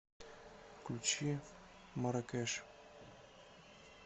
включи марракеш